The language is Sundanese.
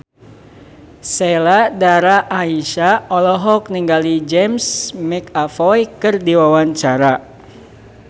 Sheila Dara Aisha olohok ningali James McAvoy keur diwawancara